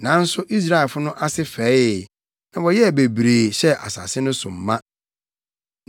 nanso Israelfo no ase fɛee, na wɔyɛɛ bebree, hyɛɛ asase no so ma.